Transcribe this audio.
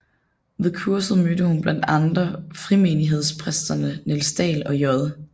Ved kurset mødte hun blandt andre frimenighedspræsterne Niels Dael og J